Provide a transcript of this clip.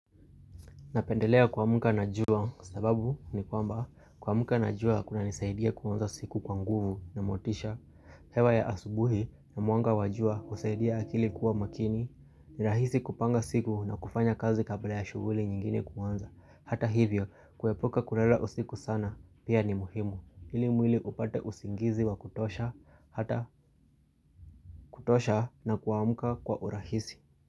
Napendelea kuamka na jua sababu ni kwamba kuamka na jua kunanisaidia kuanza siku kwa nguvu na motisha hewa ya asubuhi na mwanga wa jua husaidia akili kuwa makini ni rahisi kupanga siku na kufanya kazi kabla ya shughuli nyingine kuanza Hata hivyo kuepuka kulala usiku sana pia ni muhimu ili mwili upate usingizi wa kutosha, hata kutosha na kuamka kwa urahisi.